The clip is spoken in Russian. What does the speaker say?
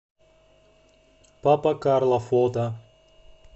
папа карло фото